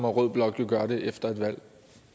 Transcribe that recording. rød blok jo gøre det efter et valg